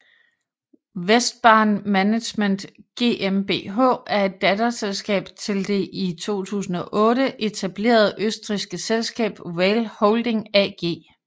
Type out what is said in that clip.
WESTbahn Management GmbH er et datterselskab til det i 2008 etablerede østrigske selskab RAIL Holding AG